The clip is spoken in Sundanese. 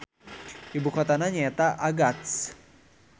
Ibukotana nyaeta Agats.